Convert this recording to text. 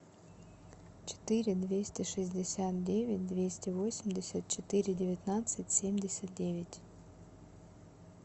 четыре двести шестьдесят девять двести восемьдесят четыре девятнадцать семьдесят девять